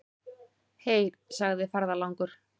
Heyr, segir ferðalangur.